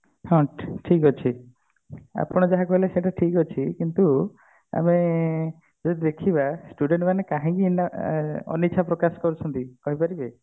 ହଁ ଠିକ ଅଛି ଆପଣ ଯାହା କହିଲେ ସେଇଟା ଠିକ ଅଛି କିନ୍ତୁ ଆମେ ଯଦି ଦେଖିବା student ମାନେ କାହିଁକି ଆଁ ଅନିଚ୍ଛା ପ୍ରକାଶ କରୁଛନ୍ତି କହିପାରିବେ